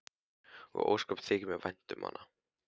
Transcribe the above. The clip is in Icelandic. Og ósköp þykir mér vænt um hana.